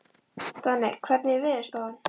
Donni, hvernig er veðurspáin?